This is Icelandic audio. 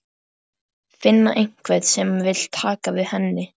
Finna einhvern sem vill taka við henni.